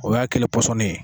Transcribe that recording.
O y'a kɛlen ye pɔsɔnnin ye